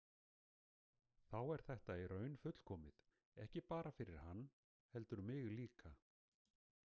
Þá er þetta í raun fullkomið, ekki bara fyrir hann heldur mig líka.